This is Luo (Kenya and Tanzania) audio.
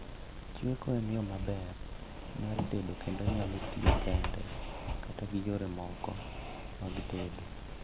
Chweko en yoo maber mar tedo kendo onyalo tio kende kata gi yore moko mag tedo